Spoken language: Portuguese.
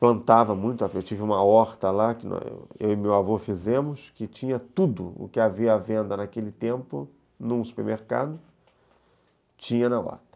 plantava muito, eu tive uma horta lá, que eu e meu avô fizemos, que tinha tudo o que havia à venda naquele tempo em um supermercado, tinha na horta.